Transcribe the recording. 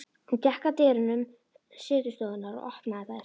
Hún gekk að dyrum setustofunnar og opnaði þær.